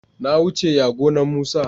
na wuce ya gonan musa